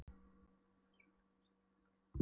Lifrin er stærsti og blóðríkasti kirtill líkamans.